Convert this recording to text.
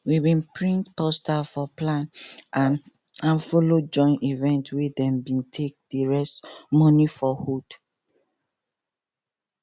we print poster for plan and and follow join event wey dem be take dey raise money for hood